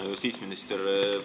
Hea justiitsminister!